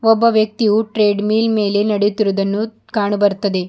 ಒಬ್ಬ ವ್ಯಕ್ತಿಯು ಟ್ರೆಡ್ಮಿಲ್ ಮೇಲೆ ನೆಡೆಯುತ್ತಿರುವುದನ್ನು ಕಾಣ ಬರ್ತದೆ.